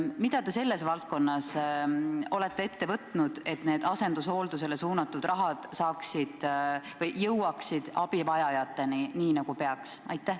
Mida te olete ette võtnud, et asendushoolduseks suunatud raha jõuaks abivajajateni, nii nagu peaks?